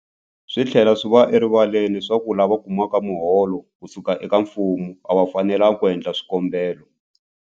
Swi tlhela swi va erivaleni leswaku lava kumaka miholo ku suka eka mfumo a va fanelanga ku endla swikombelo.